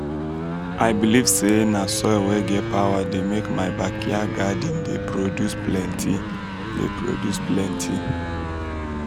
i believe say na soil wey get power dey make my backyard garden dey produce plenty. dey produce plenty.